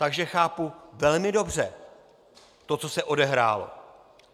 Takže chápu velmi dobře to, co se odehrálo.